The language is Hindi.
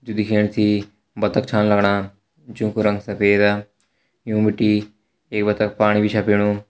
जु दिखेण से बत्तख छा लगणा जों कु रंग सफेद यु बिटि एक बत्तख पाणी छ पीणु।